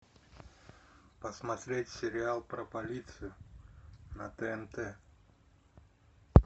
посмотреть сериал про полицию на тнт